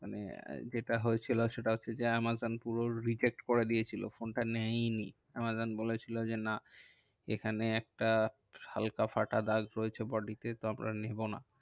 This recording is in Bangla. মানে যেটা হয়েছিল সেটা হচ্ছে যে, আমাজন পুরো reject করে দিয়েছিলো ফোনটা নেয়নি। আমাজন বলেছিলো যে, না এখানে একটা হালকা ফাটা দাগ রয়েছে body তে তো আমরা নেবো না।